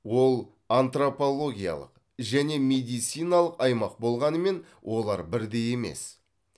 ол антропологиялық және медициналық аймақ болғанымен олар бірдей емес